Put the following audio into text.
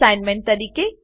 assignment તરીકે